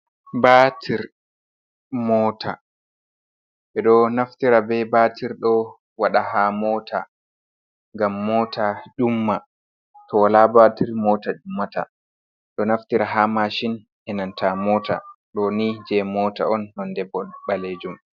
Baatir mota. Ɓe ɗo naftira be baatir ɗo waɗa haa mota ngam mota ƴumma. To wala batir mota ƴummata. Ɗo naftira haa mashin e nanta mota. Ɗo ni jei mota on, nonde balejum.